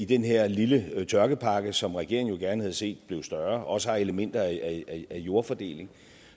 den her lille tørkepakke som regeringen jo gerne havde set blev større også har elementer af jordfordeling